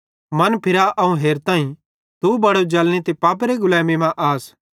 मनफिरा अवं हेरताईं कि तू बड़े जलनी ते पापेरी गुलैमी मां आस